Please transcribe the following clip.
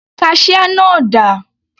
Kaṣíá náà dà?